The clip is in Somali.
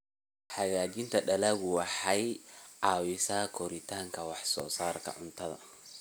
Hagaajinta dalaggu waxay caawisaa kordhinta wax soo saarka cuntada.